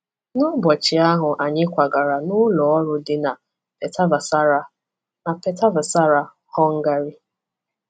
N’ụbọchị ahụ anyị kwagara n’ụlọ ọrụ dị na Pétervására, na Pétervására, Hungary.